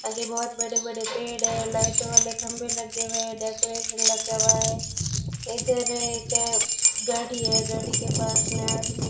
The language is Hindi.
आगे बहोत बड़े बड़े पेड़ है लाइट वाले खंभे लगे हुए हैं डेकोरेशन लगा हुआ है इधर एक गाड़ी है गाड़ी के पास में आदमी --